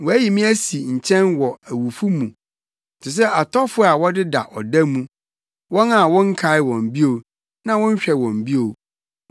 Wɔayi me asi nkyɛn wɔ awufo mu, te sɛ atɔfo a wɔdeda ɔda mu, wɔn a wonkae wɔn bio, na wonhwɛ wɔn bio.